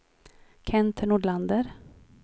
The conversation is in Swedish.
Kent Nordlander